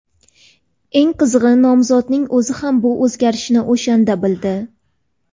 Eng qizig‘i, nomzodning o‘zi ham bu o‘zgarishni o‘shanda bildi.